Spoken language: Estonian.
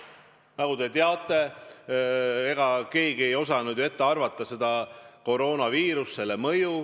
Nagu te teate, ega keegi ei osanud ju ennustada koroonaviirust, selle mõju.